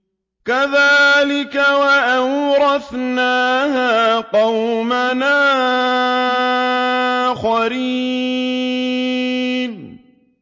كَذَٰلِكَ ۖ وَأَوْرَثْنَاهَا قَوْمًا آخَرِينَ